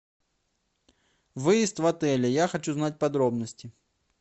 выезд в отеле я хочу знать подробности